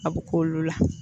A bɛ k'olu la.